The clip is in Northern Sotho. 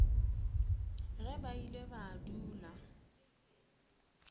ge ba ile ba dula